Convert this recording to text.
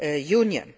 European